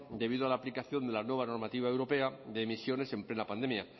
debido a la aplicación de la nueva normativa europea de emisiones en plena pandemia